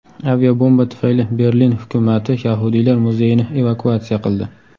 Aviabomba tufayli Berlin hukumati yahudiylar muzeyini evakuatsiya qildi.